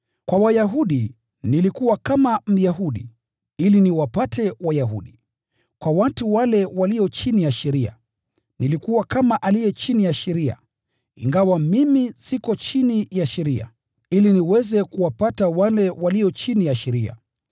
Kwa Wayahudi, nilikuwa kama Myahudi, ili niwapate Wayahudi. Kwa watu wale walio chini ya sheria, nilikuwa kama aliye chini ya sheria (ingawa mimi siko chini ya sheria), ili niweze kuwapata wale walio chini ya sheria.